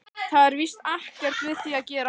Það er víst ekkert við því að gera.